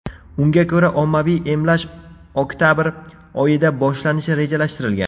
Unga ko‘ra, ommaviy emlash oktabr oyida boshlanishi rejalashtirilgan.